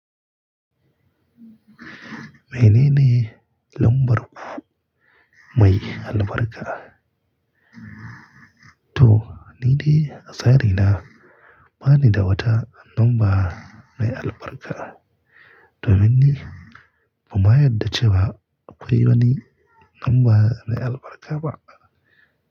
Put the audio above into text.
Mene ne lambar ku mai albarka? To, ni de a tsari na ba ni dawata lamba mai albarka. Domin ni, ban ma yarda cewa akwai wani lamba mai albarka ba.